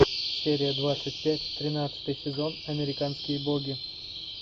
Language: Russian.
серия двадцать пять тринадцатый сезон американские боги